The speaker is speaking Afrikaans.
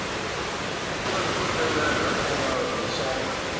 oorkoepelende liggame hoofsaaklik